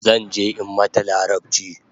Zanje in mata larabchi